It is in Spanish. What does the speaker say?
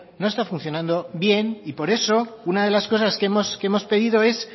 no está funcionando bien y por eso una de las cosas que hemos pedido es